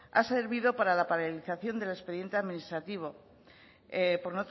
ha servido para la paralización del expediente administrativo por